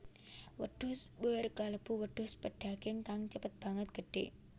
Wedhus boer kalebu wedhus pedaging kang cepet banget gedhé